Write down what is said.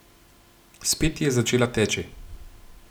Spet je začela teči.